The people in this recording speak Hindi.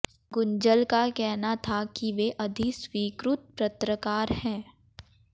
गुंजल का कहना था कि वे अधिस्वीकृत पत्रकार हैं